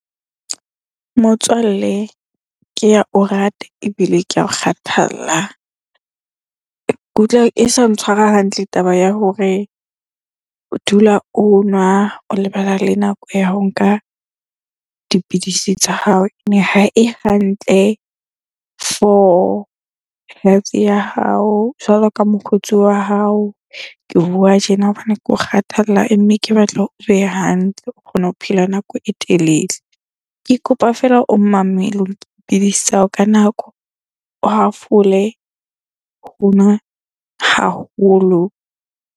Motswalle ke ya o rata ebile ke ao kgathalla. Ke ikutlwa e sa ntshwara hantle taba ya hore o dula o nwa, o lebala le nako ya ho nka dipidisi tsa hao. Ene ha e hantle for health ya hao. Jwalo ka mokgotsi wa hao ke bua tjena hobane ke o kgathalla mme ke batla o be hantle, o kgone ho phela nako e telele. Ke kopa feela o mmamele dipidisi tsa hao ka nako, o hafole ho nwa haholo.